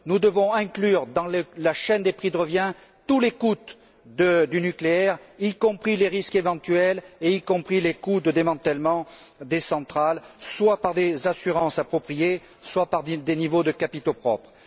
Nous devons inclure dans la chaîne des prix de revient tous les coûts du nucléaire, y compris les risques éventuels et les coûts de démantèlement des centrales soit par des assurances appropriées, soit par des niveaux de capitaux propres.